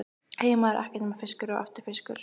Heima er ekkert nema fiskur og aftur fiskur.